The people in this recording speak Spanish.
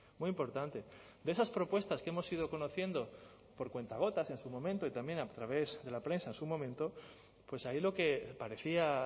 muy importante de esas propuestas que hemos ido conociendo por cuentagotas en su momento y también a través de la prensa en su momento pues ahí lo que parecía